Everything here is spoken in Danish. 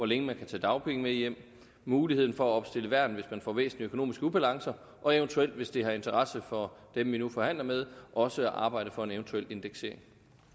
længe man kan tage dagpenge med hjem muligheden for at opstille værn hvis man får væsentlige økonomiske ubalancer og eventuelt hvis det har interesse for dem vi nu forhandler med også at arbejde for en eventuel indeksering